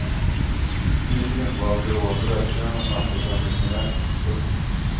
Nyligen var de gråa brödköerna samtalsämnet nummer ett. punkt